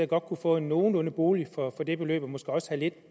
godt kunne få en nogenlunde bolig for det beløb og måske også